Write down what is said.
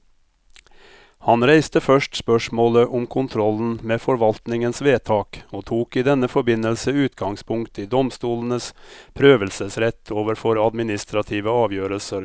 Han reiste først spørsmålet om kontrollen med forvaltningens vedtak, og tok i denne forbindelse utgangspunkt i domstolenes prøvelsesrett overfor administrative avgjørelser.